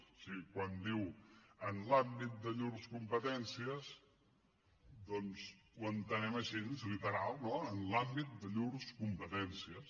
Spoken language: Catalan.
o sigui quan diu en l’àmbit de llurs competències doncs ho entenem així literal no en l’àmbit de llurs competències